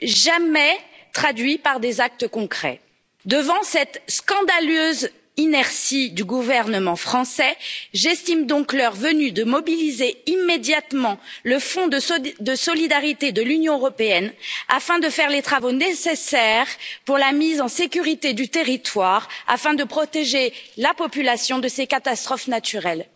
jamais traduit par des actes concrets. Devant cette scandaleuse inertie du gouvernement français, j'estime donc l'heure venue de mobiliser immédiatement le fonds de solidarité de l'Union européenne afin de faire les travaux nécessaires pour la mise en sécurité du territoire, afin de protéger la population de ces catastrophes naturelles.